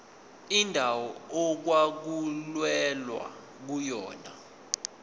indawo okwakulwelwa kuyona